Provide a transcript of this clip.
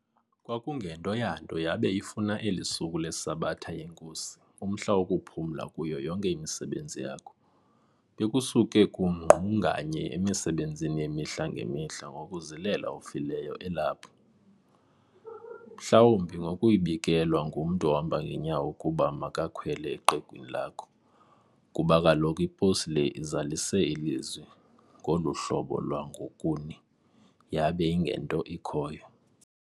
kwakungento yanto yabe ifuna elisuku leSabatha yeNKosi umhla wokuphumla kuyo yonke imisebenzi yakho. Bekusuke kungqunganye emisebenzini yemihla ngemihla ngokuzilela ofileyo elapho, mhlawumbi ngokuyibikelwa ngumntu ohamba ngenyawo ukuba makakhwele eqegwini lakho ,kuba kaloku iposi le izalise ilizwi ngoluhlobo lwangokuni yabe ingento ikhoyo.